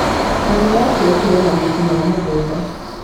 Mami abiekire mahuti ma mũgunda.